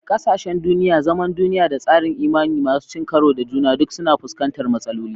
Ƙasashen duniya, zaman duniya, da tsarin imani masu cin karo da juna duk suna fuskantar matsaloli.